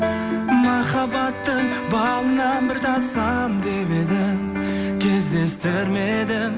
махаббаттың балынан бір татсам деп едім кездестірмедім кездестірмедім